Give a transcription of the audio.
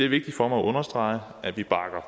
vigtigt for mig at understrege at vi